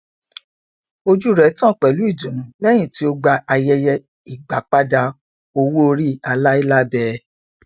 ojú rẹ tàn pẹlú ìdùnnú lẹyìn tí ó gba ayẹyẹ agbápadà owóòrí aláìlábẹẹ